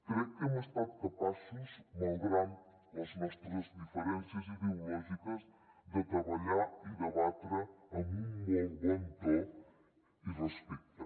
crec que hem estat capaços malgrat les nostres diferències ideològiques de treballar i debatre amb un molt bon to i respecte